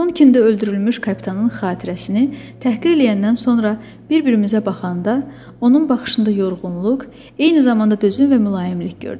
Tonkində öldürülmüş kapitanın xatirəsini təhqir eləyəndən sonra bir-birimizə baxanda, onun baxışında yorğunluq, eyni zamanda dözüm və mülayimlik gördüm.